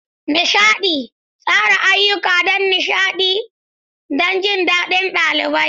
Nishaɗi: Tsara ayyuka don nishaɗi da jin daɗin ɗalibai.